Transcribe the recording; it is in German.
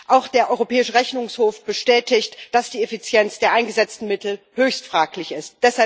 Auch der Europäische Rechnungshof bestätigt, dass die Effizienz der eingesetzten Mittel höchst fraglich ist.